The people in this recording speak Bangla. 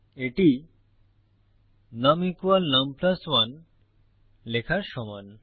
এটি নুম নুম 1 লেখার সমান